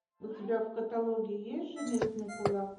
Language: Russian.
у тебя в каталоге есть железный кулак